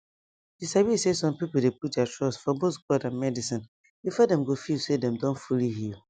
you sabi say some people dey put their trust for both god and medicine before dem go feel say dem don fully heal